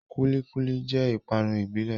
Kúlí kúlí jẹ́ ìpápánu ìbílẹ̀